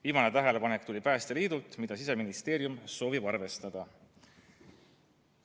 Viimane tähelepanek tuli Päästeliidult, Siseministeerium soovib seda arvestada.